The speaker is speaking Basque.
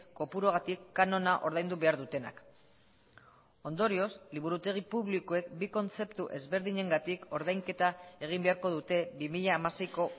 kopuruagatik kanona ordaindu behar dutenak ondorioz liburutegi publikoek bi kontzeptu ezberdinengatik ordainketa egin beharko dute bi mila hamaseiko